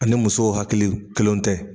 Ani musow hakiliw kelenw tɛ